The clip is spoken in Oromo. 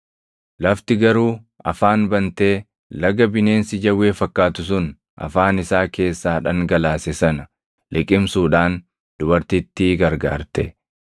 Lafti garuu afaan bantee laga bineensi jawwee fakkaatu sun afaan isaa keessaa dhangalaase sana liqimsuudhaan dubartittii gargaarte.